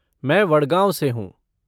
मैं वडगाँव से हूँ।